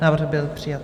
Návrh byl přijat.